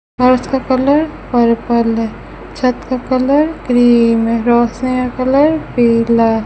फर्श का colour purple है छत का कलर क्रीम है रोशनी का कलर पिला है।